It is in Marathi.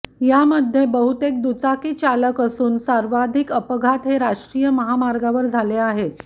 यामध्ये बहुतेक दुचाकी चालक असून सर्वाधिक अपघात हे राष्ट्रीय महामार्गावर झाले आहेत